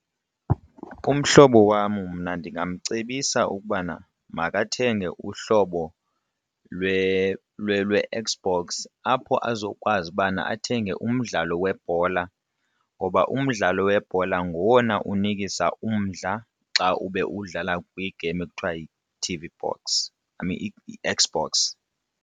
Umhlobo wam mna ndingamcebisa ukubana makathenge uhlobo lwe-Xbox apho azokwazi ubana athenge umntu mdlalo webhola ngoba umdlalo webhola ngowona unikisa umdla xa ube uwudlala kwigeyim ekuthiwa yi-T_V box, I mean i-Xbox.